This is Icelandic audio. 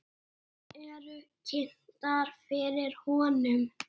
Þær eru kynntar fyrir honum.